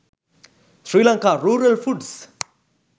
sri lanka rural foods